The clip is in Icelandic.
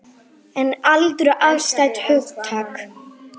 En aldur er afstætt hugtak.